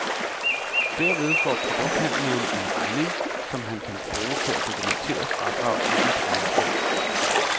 Derved får produkthandleren en regning, som han kan bruge til at dokumentere fradrag i sit regnskab.